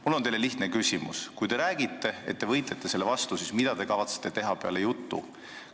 Mul on teile lihtne küsimus: kui te räägite, et te võitlete selle vastu, siis mida te kavatsete teha peale jutu?